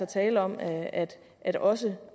tale om at at også